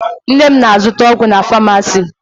Nne m na-azụta ọgwụ na famasi.